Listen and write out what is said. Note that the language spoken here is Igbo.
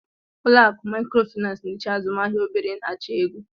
Ụlọ akụ Maịkrofịnansị n'eche azụmahịa obere na-achọ ego.